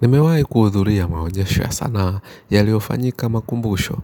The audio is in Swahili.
Nimewaai kuudhuria maonyesho ya sanaa yaliyofanyika makumbusho.